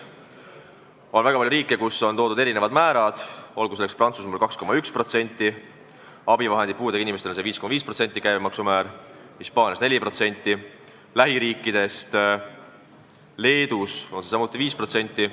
On väga palju riike, kus on madalamad määrad: Prantsusmaal on ravimite käibemaks 2,1% ja puudega inimeste abivahendite käibemaks 5,5%, Hispaanias 4%, lähiriikidest Leedus on see 5%.